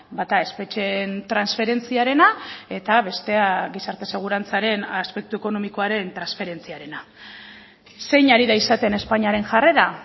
bata espetxeen transferentziarena eta bestea gizarte segurantzaren aspektu ekonomikoaren transferentziarena zein ari da izaten espainiaren jarrera